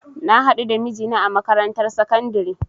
Na hadu da mijina a makarantar sakandare